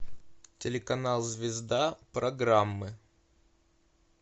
телеканал звезда программы